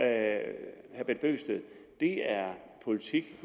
herre bent bøgsted at det er politik